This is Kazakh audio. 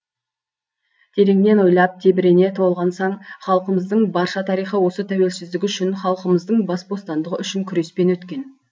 тереңнен ойлап тебірене толғансаң халқымыздың барша тарихы осы тәуелсіздік үшін халқымыздың бас бостандығы үшін күреспен өткен